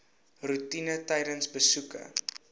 roetine tydens besoeke